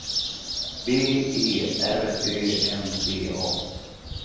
B E R Ö M D A